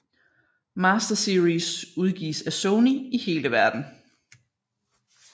Master Series udgives af Sony i hele Verden